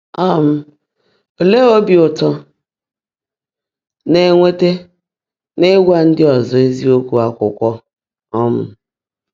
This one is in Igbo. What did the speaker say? um Óleé óbí ụ́tọ́ ị́ ná-énwétá n’ị́gwá ndị́ ọ́zọ́ ézíokwú ákwụ́kwọ́? um